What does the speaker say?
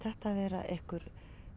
vera einhver